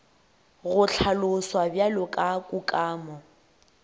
go hlaloswa bjalo ka kukamo